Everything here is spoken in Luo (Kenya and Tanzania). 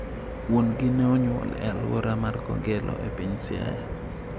Wuon gi ne onyuol e aluora mar Kogelo e piny Siaya.